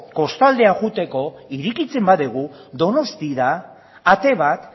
kostaldera joateko irekitzen badugu donostiara ate bat